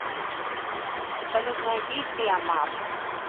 салют найди тиамат